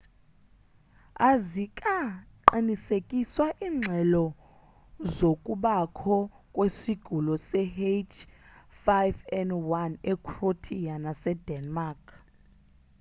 azikaqinisekiswa iingxelozokubakho kwesigulo se-h5n1 ecroatia nasedenmark